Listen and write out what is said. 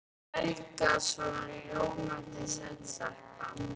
Og Helga svona ljómandi sæt stelpa.